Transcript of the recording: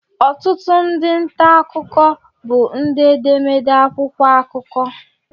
Ọtụtụ ndị nta akụkọ bụ ndị edemede akwụkwọ akụkọ